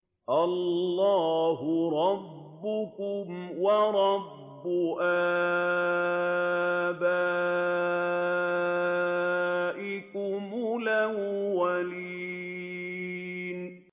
اللَّهَ رَبَّكُمْ وَرَبَّ آبَائِكُمُ الْأَوَّلِينَ